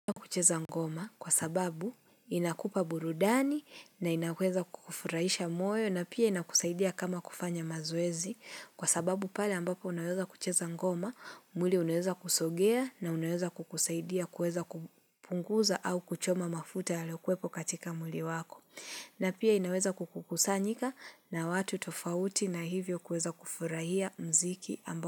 Unaweza kucheza ngoma kwa sababu inakupa burudani na inaweza kukufurahisha moyo na pia inakusaidia kama kufanya mazoezi kwa sababu pale ambapo unaweza kucheza ngoma mwili unaweza kusogea na unaweza kukusaidia kuweza kupunguza au kuchoma mafuta yaliyo kuwepo katika mwili wako. Na pia inaweza kukusanyika na watu tofauti na hivyo kuweza kufurahia mziki amba.